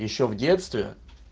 ещё в детстве